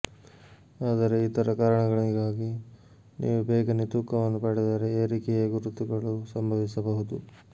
ಆದರೆ ಇತರ ಕಾರಣಗಳಿಗಾಗಿ ನೀವು ಬೇಗನೆ ತೂಕವನ್ನು ಪಡೆದರೆ ಏರಿಕೆಯ ಗುರುತುಗಳು ಸಂಭವಿಸಬಹುದು